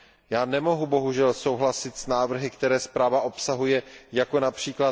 Já nemohu bohužel souhlasit s návrhy, které zpráva obsahuje, jako jsou např.